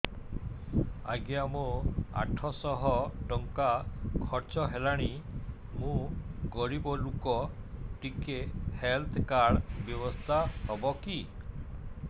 ଆଜ୍ଞା ମୋ ଆଠ ସହ ଟଙ୍କା ଖର୍ଚ୍ଚ ହେଲାଣି ମୁଁ ଗରିବ ଲୁକ ଟିକେ ହେଲ୍ଥ କାର୍ଡ ବ୍ୟବସ୍ଥା ହବ କି